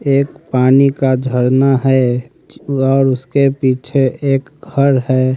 एक पानी का झरना है और उसके पीछे एक घर है।